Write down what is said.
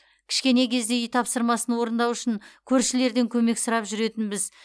кішкене кезде үй тапсырмасын орындау үшін көршілерден көмек сұрап жүретінбіз